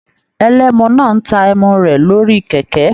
Ẹlẹ́mú náà n tá ẹ́mú rẹ lórí kẹkẹ.